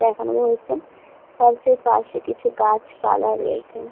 দেখানো যে হচ্ছে চার্চ -এর পাশে কিছু গাছপালা রয়েছে।